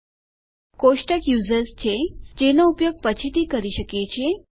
આપણું કોષ્ટક યુઝર્સ છે જેનો ઉપયોગ આપણે પછીથી કરી શકીએ છીએ